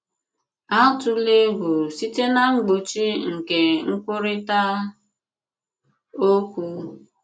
Àtùlà ègwù site na mgbochi nke nkwurịta òkwù.